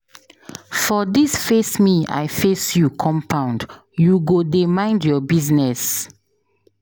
For dis face me I face you compound, you go dey mind your business.